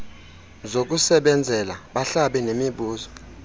zokusebenzela bahlabe nemibuzo